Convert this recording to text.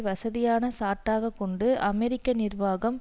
வசதியான சாட்டாக கொண்டு அமெரிக்க நிர்வாகம்